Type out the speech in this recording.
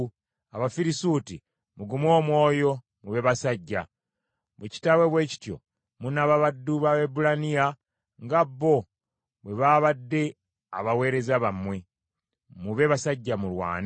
Abafirisuuti, mugume omwoyo, mube basajja. Bwe kitaabe bwe kityo munaaba baddu b’Abaebbulaniya nga bo bwe babadde abaweereza bammwe. Mube basajja mulwane.”